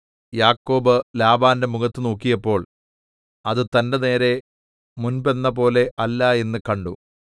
യാക്കോബ് ലാബാന്റെ മുഖത്തു നോക്കിയപ്പോൾ അത് തന്റെ നേരെ മുൻപെന്നപോലെ അല്ല എന്നു കണ്ടു